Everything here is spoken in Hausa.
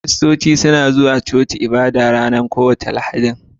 Kiristanci suna zuwa coci ibada ranar kowace Lahadin.